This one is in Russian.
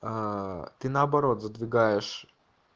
а ты наоборот задвигаешь